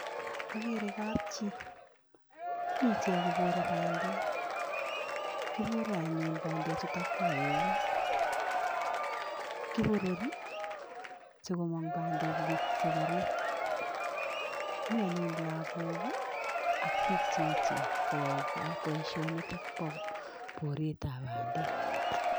Akere kapchi, mi ichek kobore bandek, kibore anyun bandechutakwa eut, kiborori sikomong bandek ing sekerik, mi anyun lagok ii ak piik che echen koyoe boisionitok bo boretab bandek.